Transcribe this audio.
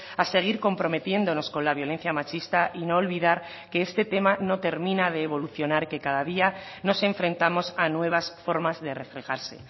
a seguir comprometiéndonos con la violencia machista y no olvidar que este tema no termina de evolucionar que cada día nos enfrentamos a nuevas formas de reflejarse